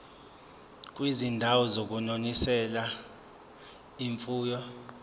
kwizindawo zokunonisela imfuyo